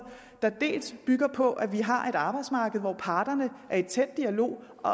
der bygger på at vi har et arbejdsmarked hvor parterne er i tæt dialog og